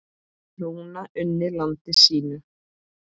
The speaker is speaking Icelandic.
Rúna unni landi sínu.